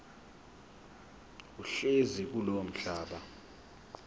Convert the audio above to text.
ohlezi kulowo mhlaba